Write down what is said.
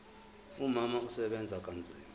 umama usebenza kanzima